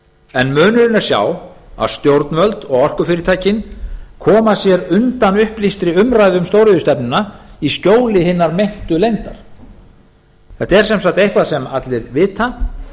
en munurinn er sá að stjórnvöld og orkufyrirtækin koma sér undan upplýstri umræðu um stóriðjustefnuna í skjóli hinnar meintu leyndar þetta er sem sagt eitthvað sem allir vita